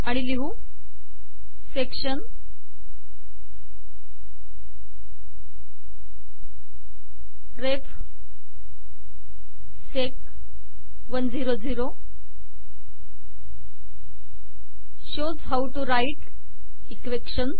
आणि लिहू section ref sec १०० shows how to write equations